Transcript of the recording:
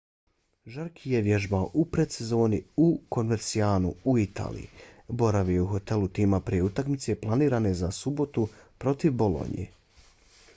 jarque je vježbao u predsezoni u covercianu u italiji. boravio je u hotelu tima prije utakmice planirane za subotu protiv bolonje